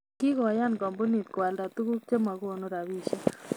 Kigoyan kampunit koalda tuguk chemagonu robishiek